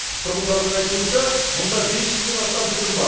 тұрғындардың айтуынша мұнда бес жүзден астам түтін бар